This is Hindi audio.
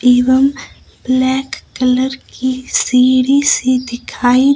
एवम ब्लैक कलर की सीढ़ी सी दिखाई--